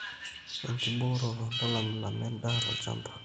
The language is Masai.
enkibooroto: ntalamilama endaa tolchamba